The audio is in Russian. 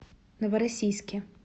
новороссийске